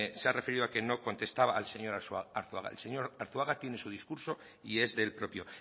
se ha referido a que no contestaba al señor arzuaga el señor arzuaga tiene su discurso y es de él propio